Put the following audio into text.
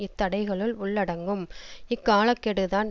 இத்தடைகளுள் உள்ளடங்கும் இக்காலக்கெடுதான்